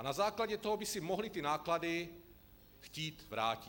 A na základě toho by si mohli ty náklady chtít vrátit.